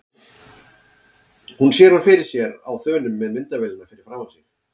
Hún sér hann fyrir sér á þönum með myndavélina fyrir framan sig.